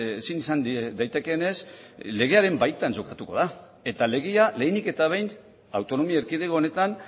ezin izan daitekeenez legearen baita jokatuko da eta legea lehenik eta behin autonomia erkidego honetan